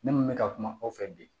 Ne mun bɛ ka kuma aw fɛ bi